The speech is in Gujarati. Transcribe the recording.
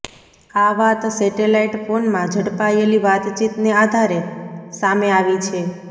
આ વાત સેટેલાઈટ ફોનમાં ઝડપાયેલી વાતચીતને આધારે સામે આવી છે